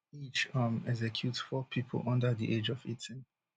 each um execute four pipo under di age of eighteen